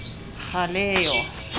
galeyo